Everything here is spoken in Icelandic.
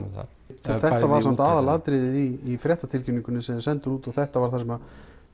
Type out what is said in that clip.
um þar þetta var samt aðalatriðið í fréttatilkynningunni sem þið senduð út og þetta var það sem